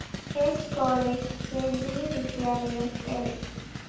സ്‌ college, Kendriya Vidyalaya, L.